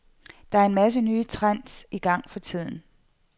Der er en masse nye trends i gang for tiden.